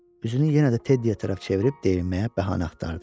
Üzünü yenə də Teddiyə tərəf çevirib deyinməyə bəhanə axtardı.